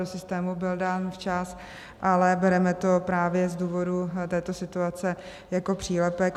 Do systému byl dán včas, ale bereme to právě z důvodu této situace jako přílepek.